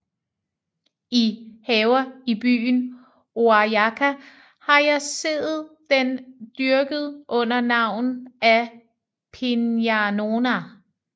I Haver i Byen Oajaca har jeg seet den dyrket under Navn af Piñanona